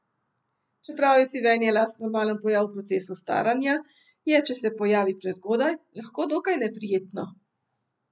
Čeprav je sivenje las normalen pojav v procesu staranja je, če se pojavi prezgodaj, lahko dokaj neprijetno.